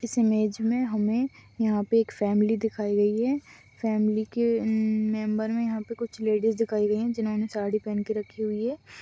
इस मेज में हमें यहां पर एक फैमिली दिखाई गई है फैमिली के अम्म मेंबर में यहां पर कुछ लेडीज़ दिखाई गई है जिन्होंने साड़ी पहन के रखी हुई है।